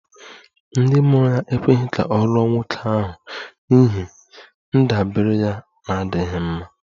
Ndị mụrụ ya ekweghị ka ọ lụọ nwoke ahụ n'ihi ndabere ya na-adịghị mma